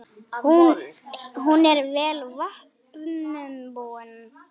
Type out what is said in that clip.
Hún er vel vopnum búin.